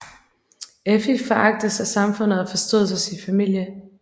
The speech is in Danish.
Effi foragtes af samfundet og forstødes af sin familie